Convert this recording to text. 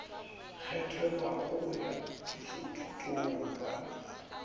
kgethelwago go ya thušothutong ba